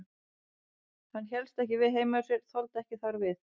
Hann hélst ekki við heima hjá sér, þoldi ekki þar við.